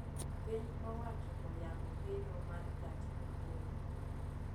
Piny owacho oyango gedo mar gach okolo